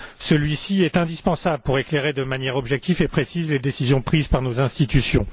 Celui ci est indispensable pour éclairer de manière objective et précise les décisions prises par nos institutions.